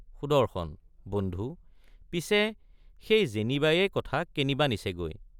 সুদৰ্শন—বন্ধু পিছে সেই যেনিবায়েই কথা কেনিবা নিছেগৈ।